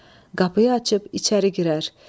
Qapıyı açıb içəri girər.